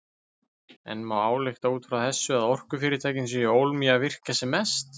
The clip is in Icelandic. En má álykta út frá þessu að orkufyrirtækin séu ólm í virkja sem mest?